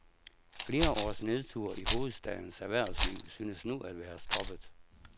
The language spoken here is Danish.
Flere års nedtur i hovedstadens erhvervsliv synes nu at være stoppet.